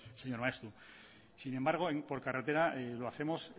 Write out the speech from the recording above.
señor maeztu sin embargo por carretera lo hacemos